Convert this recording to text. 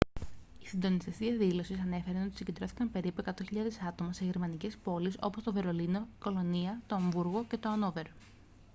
οι συντονιστές της διαδήλωσης ανέφεραν ότι συγκεντρώθηκαν περίπου 100.000 άτομα σε γερμανικές πόλεις όπως το βερολίνο η κολωνία το αμβούργο και το αννόβερο